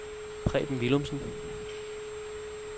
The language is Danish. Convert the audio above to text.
Preben Villumsen